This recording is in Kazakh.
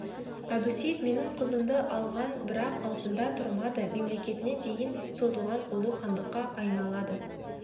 әбусейіт менің қызымды алған бірақ антында тұрмады мемлекетіне дейін созылған ұлы хандыққа айналады